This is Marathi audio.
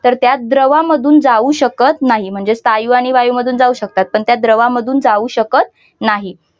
तर त्या दहा मधून जाऊ शकत नाही ती म्हणजे स्थायू आणि वायू मधून जाऊ शकतात पण त्या द्रवांमध्ये जाऊ शकत नाही.